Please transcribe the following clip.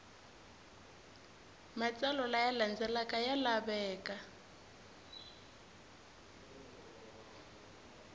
matsalwa laya landzelaka ya laveka